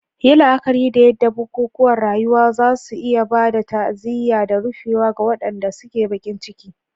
Yi la'akari da yadda bukukuwan rayuwa za su iya ba da ta'aziyya da rufewa ga waɗanda suke baƙin ciki.